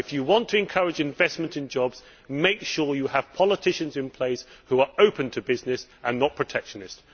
If you want to encourage investment in jobs, make sure you have politicians in place who are open to business and are not protectionist.